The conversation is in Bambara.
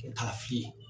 Kalafili